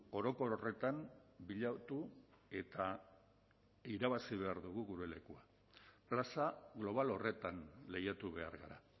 orokor horretan bilatu eta irabazi behar dugu gure lekua plaza global horretan lehiatu behar gara